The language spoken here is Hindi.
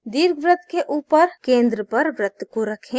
दीर्घवृत्त के ऊपर केंद्र पर वृत्त को रखें